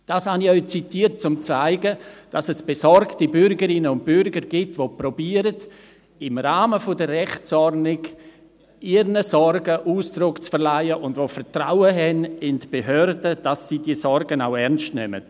Dies habe ich zitiert, um zu zeigen, dass es besorgte Bürgerinnen und Bürger gibt, die versuchen, im Rahmen der Rechtsordnung ihren Sorgen Ausdruck zu verleihen, und die Vertrauen in die Behörden haben, dass diese ihre Sorgen auch ernst nehmen.